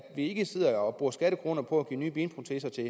ikke sidder og bruger skattekroner på at give nye benproteser til